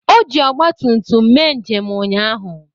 O ji Ọgbatumtum mee njem ụnyaahụ.